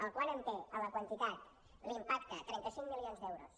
el quant amb te en la quantitat l’impacte trenta cinc milions d’euros